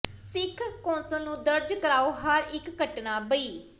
ਸਿੱਖ council ਨੂੰ ਦਰਜ਼ ਕਰਾਓ ਹਰ ਇੱਕ ਘਟਨਾਂ ਬਈ